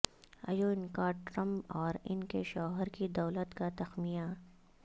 Ivanka Trump اور ان کے شوہر کی دولت کا تخمینہ